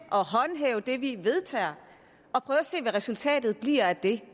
og håndhæve det vi vedtager og prøve at se hvad resultatet bliver af det